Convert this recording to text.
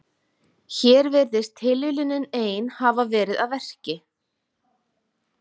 Hér virðist tilviljunin ein hafa verið að verki.